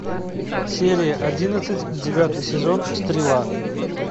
серия одиннадцать девятый сезон стрела